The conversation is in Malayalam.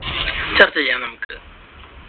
ചർച്ച ചെയ്യാം നമുക്കിത്.